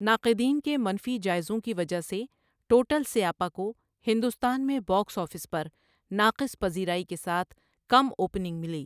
ناقدین کے منفی جائزوں کی وجہ سے ٹوٹل سیاپا کو ہندوستان میں باکس آفس پر ناقص پذیرائی کے ساتھ کم اوپننگ ملی۔